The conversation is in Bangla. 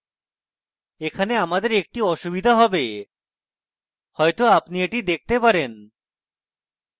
এখানে আমাদের একটি অসুবিধা হবে হয়তো আপনি এটি দেখতে পারেন